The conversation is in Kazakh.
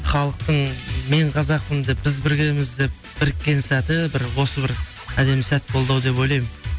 халықтың мен қазақпын деп біз біргеміз деп біріккен сәті бір осы бір әдемі сәт болды ау деп ойлаймын